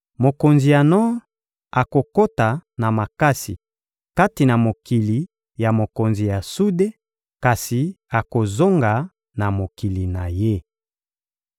Mokonzi ya nor akokota na makasi kati na mokili ya mokonzi ya sude, kasi akozonga na mokili na ye.